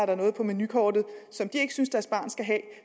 der noget på menukortet som de ikke synes deres barn skal have